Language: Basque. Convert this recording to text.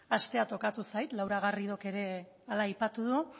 hastea tokatu zait laura garridok ere hala aipatu du